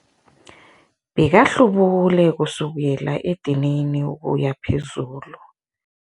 Bekahlubule kusukela edinini ukuya phezulu.